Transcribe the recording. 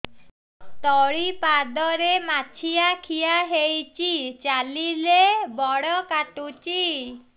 ତଳିପାଦରେ ମାଛିଆ ଖିଆ ହେଇଚି ଚାଲିଲେ ବଡ଼ କାଟୁଚି